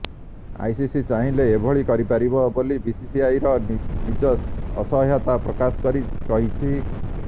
ICC ଚାହିଁଲେ ଏଭଳି କରିପାରିବ ବୋଲି ବିସିସିଆଇ ନିଜ ଅସହାୟତା ପ୍ରକାଶ କରି କହିଛି